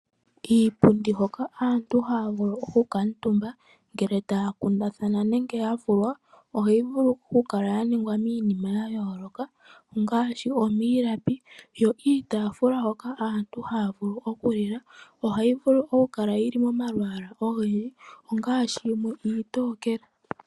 Iipundi hoka aantu haya vulu okukala omutumba, ngele taya kundathana nenge ya vulwa, ohayi vulu okukala ya ningwa miinima ya yoloka ngaashi omiilapi, yo iitafula hoka aantu haya vulu okulilwa, ohayi kala mo malaalwa ga yoloka ngaashi yimwe iitokele